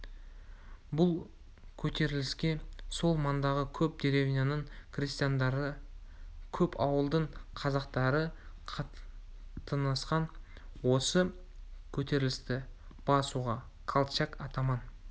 бұл көтеріліске сол маңдағы көп деревняның крестьяндары көп ауылдың қазақтары қатынасқан осы көтерілісті басуға колчак атаман